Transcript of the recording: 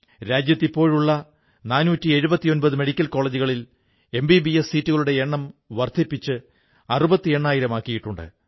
രാജ്യത്തിപ്പോഴുള്ള 479 medical കോളജുകളിൽ MBBS സീറ്റുകളുടെ എണ്ണം വർധിപ്പിച്ച് 68000 ആക്കിയിട്ടുണ്ട്